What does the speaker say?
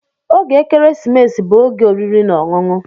Oge ekeresimesi bụ oge oriri na ọṅụṅụ.